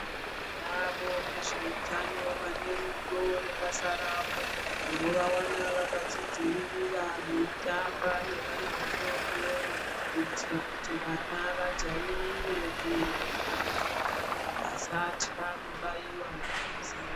Tinavo vezveutano vanerudo nebasa ravo. Unovawana vakazvidzivirira veitamba nevana vadodori kuitira kuti vana vajairire kuenda kuzvibhedhlera vasatya kubaiwa majekiseni.